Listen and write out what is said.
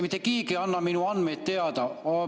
Mitte keegi ei anna minu andmeid teada.